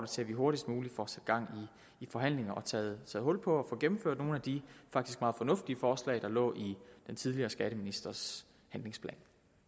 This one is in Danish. til at vi hurtigst muligt får sat gang i forhandlingerne og får taget hul på at få gennemført nogle af de faktisk meget fornuftige forslag der lå i den tidligere skatteministers handlingsplan